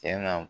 Tiɲɛna